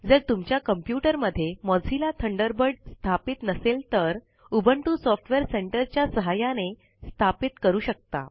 जर तुमच्या कम्प्युटर मध्ये मोझिल्ला थंडरबर्ड स्थापित नसेल तर उबुंटू सॉफ्टवेअर सेंटर च्या सहाय्याने स्थापित करू शकता